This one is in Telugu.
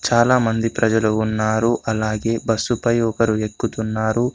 చాలామంది ప్రజలు ఉన్నారు అలాగే బస్సుపై ఒకరు ఎక్కుతున్నారు.